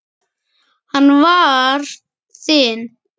Hann var þinn.